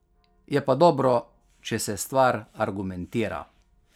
Je pa dobro, če se stvar argumentira.